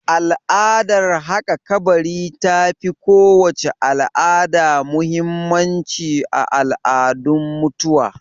Al'adar haƙa kabari ta fi kowace al'ada muhimmanci a al'adun mutuwa